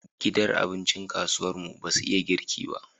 Gidan abincin kasuwar mu basu iya girki ba